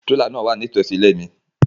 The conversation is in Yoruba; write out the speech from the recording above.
Tirela náa wa nitosi ile mi